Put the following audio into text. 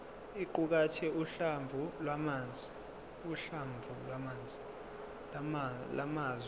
iqukathe uhlamvu lwamazwi